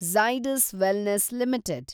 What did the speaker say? Zydus wellness limited